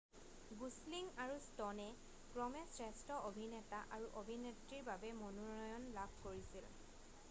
Gosling আৰু ষ্ট'নে ক্ৰমে শ্ৰেষ্ঠ অভিনেতা আৰু অভিনেত্ৰীৰ বাবে মনোনয়ন লাভ কৰিছিল